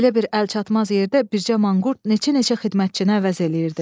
Belə bir əlçatmaz yerdə bircə manqurt neçə-neçə xidmətçini əvəz eləyirdi.